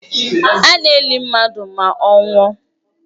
A na-eli mmadụ ma ọ nwụọ